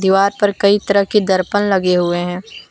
पर कई तरह के दर्पण लगे हुए हैं।